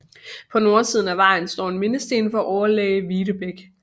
På nordsiden af vejen står en mindesten for overlæge Videbech